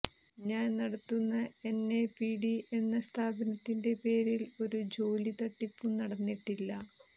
ഞാൻ നടത്തുന്ന എൻഎപിടി എന്ന സ്ഥാപനത്തിന്റെ പേരിൽ ഒരു ജോലി തട്ടിപ്പും നടന്നിട്ടില്ല